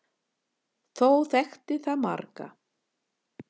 Þó þekkti það marga.